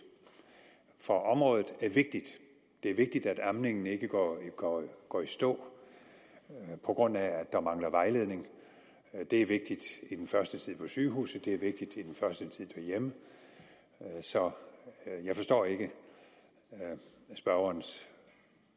for området er vigtigt det er vigtigt at amningen ikke går i stå på grund af at der mangler vejledning det er vigtigt i den første tid på sygehuset og det er vigtigt i den første tid derhjemme så jeg forstår ikke spørgerens